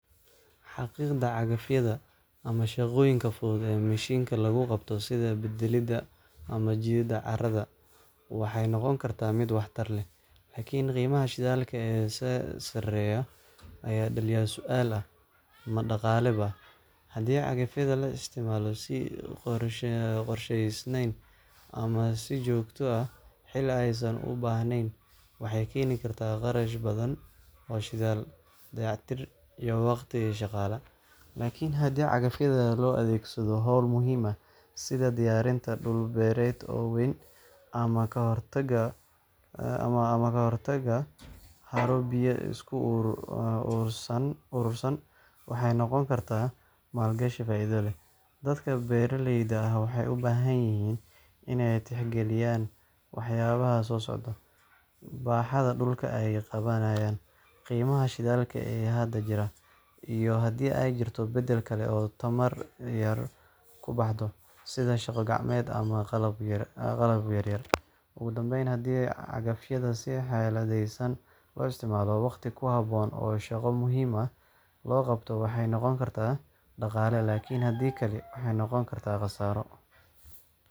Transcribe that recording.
Xaaqidda cagafyada – ama shaqooyinka fudud ee mishiinka lagu qabto sida beddelidda ama jiididda carrada – waxay noqon kartaa mid waxtar leh, laakiin qiimaha shidaalka ee sareeya ayaa dhaliya su’aal ah: ma dhaqaale baa? Haddii cagafyada la isticmaalo si aan qorshaysnayn ama si joogto ah xilli aysan u baahnayn, waxay keeni kartaa kharash badan oo shidaal, dayactir, iyo waqtiga shaqaalaha. Laakiin haddii cagafyada loo adeegsado hawl muhiim ah – sida diyaarinta dhul beereed oo weyn, ama ka hortagga haro biyo isku urursadaan – waxay noqon kartaa maalgashi faa’iido leh. Dadka beeraleyda ah waxay u baahan yihiin inay tixgeliyaan waxyaabaha soo socda: Baaxadda dhulka ay qabanayaan Qiimaha shidaalka ee hadda jira Iyo haddii ay jirto beddel kale oo tamar yar ku baxdo, sida shaqo gacmeed ama qalab yaryar. Ugu dambayn, haddii cagafyada si xeeladaysan loo isticmaalo, waqti ku habboon oo shaqo muhiim ah loo qabto, waxay noqon kartaa dhaqaale – laakiin haddii kale, waxay noqon kartaa khasaaro.